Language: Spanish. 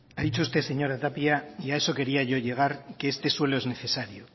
ha dicho usted señora tapia y a eso quería yo llegar que este suelo es necesario